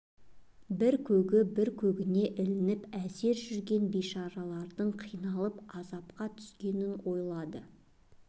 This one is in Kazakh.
бір көгі бір көгіне ілініп әзер жүрген бейшаралардың қиналып азапқа түсетінін ойлады